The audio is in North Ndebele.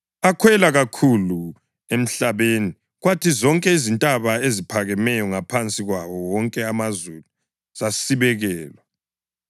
Akhwela kakhulu emhlabeni, kwathi zonke izintaba eziphakemeyo ngaphansi kwawo wonke amazulu zasibekelwa.